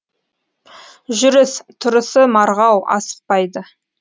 жүріс тұрысы марғау асықпайды